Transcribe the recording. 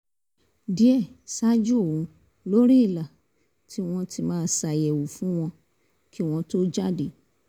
díẹ̀ ṣáájú òun lórí ìlà tó wọ́n ma ti ṣàyẹ̀wò fún wọn kí wọ́n tó jáde